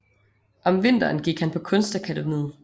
Om vinteren gik han på Kunstakademiet